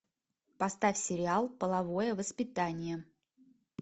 поставь сериал половое воспитание